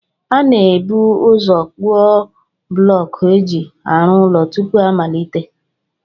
A na-ebu ụzọ kpụọ bụlọọkụ e ji arụ ụlọ tupu a malite